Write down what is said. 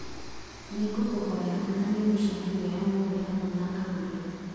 nĩ ngũkũhoya onania mĩcemanio ya ũmũthĩ hamwe na agũri